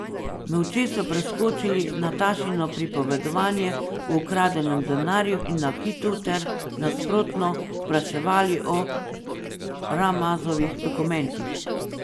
Molče so preskočili Natašino pripovedovanje o ukradenem denarju in nakitu ter, nasprotno, spraševali o Ramazovih dokumentih.